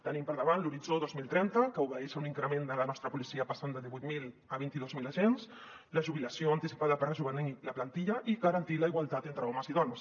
tenim per davant l’horitzó dos mil trenta que obeeix a un increment de la nostra policia passant de divuit mil a vint dos mil agents i la jubilació anticipada per rejovenir la plantilla i garantir la igualtat entre homes i dones